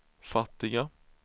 fattiga